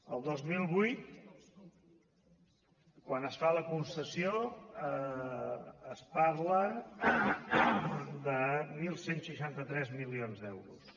el dos mil vuit quan es fa la concessió es parla de onze seixanta tres milions d’euros